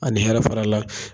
A ni hɛrɛ fara la